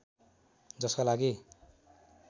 जसका लागि